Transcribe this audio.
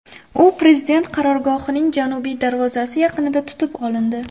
U prezident qarorgohining janubiy darvozasi yaqinida tutib olindi.